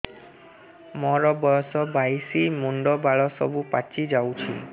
ମୋର ବୟସ ବାଇଶି ମୁଣ୍ଡ ବାଳ ସବୁ ପାଛି ଯାଉଛି